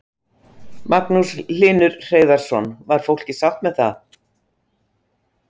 Magnús Hlynur Hreiðarsson: Var fólkið sátt með það?